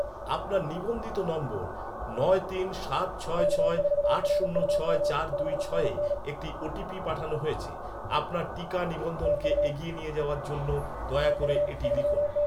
আপনার নিবন্ধিত নম্বর নয় তিন সাত ছয় ছয় আট শূন্য ছয় চার দুই ছয়ে একটি ওটিপি পাঠানো হয়েছে, আপনার টিকা নিবন্ধন কে এগিয়ে নিয়ে যাওয়ার জন্য দয়া করে এটি লিখুন